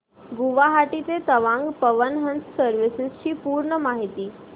गुवाहाटी ते तवांग पवन हंस सर्विसेस ची पूर्ण माहिती